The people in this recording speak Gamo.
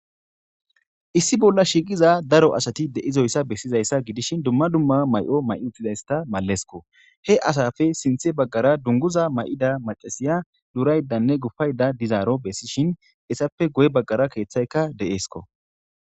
issi bolla shiiqiza daro asati de'izoyssa bessizayssa gidishin dumma dumma mayo may uttizayssta mallesko he asappe sinthe baggara dunguza mayida macasiya duuraydanne gupayda dizaaro bessishin essappe goye baggara keeththayka deeesko